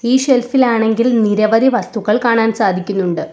ഈ ഷെൽഫ് ഇൽ ആണെങ്കിൽ നിരവധി വസ്തുക്കൾ കാണാൻ സാധിക്കുന്നുണ്ട്.